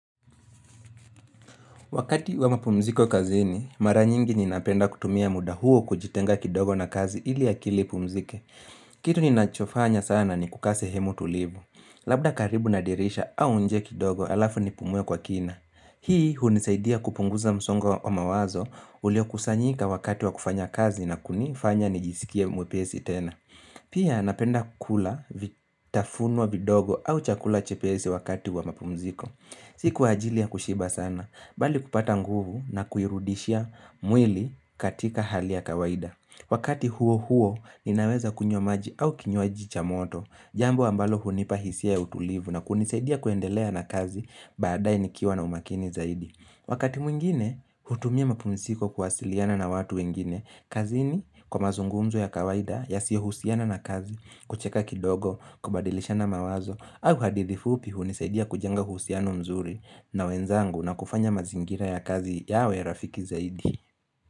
Wakati wa mapumziko kazini, mara nyingi ninapenda kutumia muda huo kujitenga kidogo na kazi ili akili ipumzike. Kitu ninachofanya sana ni kuka asehemu tulivu. Labda karibu na dirisha au nje kidogo alafu nipumue kwa kina. Hii hunisaidia kupunguza msongo wa mawazo ulio kusanyika wakati wa kufanya kazi na kunifanya nijisikia mwepesi tena. Pia napenda kukula vitafunuwa vidogo au chakula chepesi wakati wa mapumziko. Si kwa ajili ya kushiba sana, bali kupata nguvu na kuirudishia mwili katika hali ya kawaida. Wakati huo huo, ninaweza kunywa maji au kinywaji cha moto, jambo ambalo hunipa hisia ya utulivu na kunisaidia kuendelea na kazi badae nikiwa na umakini zaidi. Wakati mwingine, hutumia mapumziko kuwasiliana na watu wengine. Kazini kwa mazungumzo ya kawaida yasiyo husiana na kazi, kucheka kidogo, kubadilishana mawazo, au hadithifupi hunisaidia kujenga husiano mzuri na wenzangu na kufanya mazingira ya kazi yawe ya rafiki zaidi.